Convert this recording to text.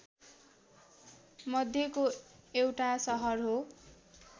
मध्येको एउटा सहर हो